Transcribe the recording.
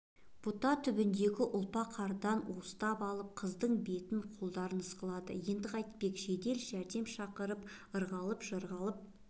бұта түбіндегі ұлпа қардан уыстап алып қыздың бетін қолдарын ысқылады енді қайтпек жедел жәрдем шақырып ырғалып-жырғалып